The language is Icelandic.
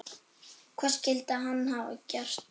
Hvað skyldi hann hafa gert?